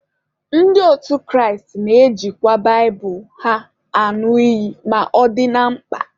Ndị otu Kraịst na-ejikwa baịbụlụ ha añụ iyi ma ọ dị na mkpa.